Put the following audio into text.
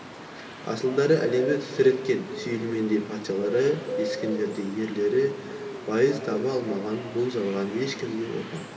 асылдары әлемді тітіреткен сүлеймендей патшалары ескендірдей ерлері байыз таба алмаған бұл жалғаннан ешкім де опа